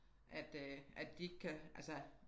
At øh at de ikke kan altså